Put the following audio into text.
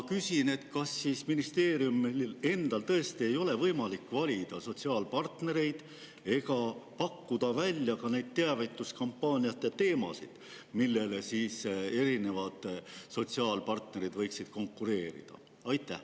Kas siis ministeeriumil endal tõesti ei ole võimalik valida sotsiaalpartnereid ega pakkuda välja teavituskampaaniate teemasid, millele erinevad sotsiaalpartnerid võiksid konkureerida?